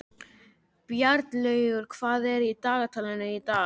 Bjarnlaugur, hvað er á dagatalinu í dag?